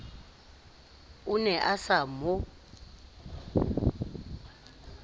o ne a sa mo